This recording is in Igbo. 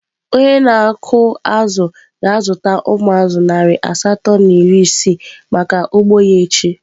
Onye na-akụ azụ̀ ga-azụta umu azu narị asatọ na iri isii maka ugbo ya echi.